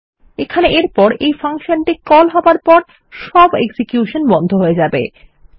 এখানে এরপর এই ফাংশন টি কল হবার পর আমরা সব এক্সিকিউশন বন্ধ করে দেব